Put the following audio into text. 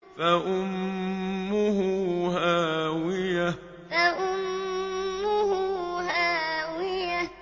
فَأُمُّهُ هَاوِيَةٌ فَأُمُّهُ هَاوِيَةٌ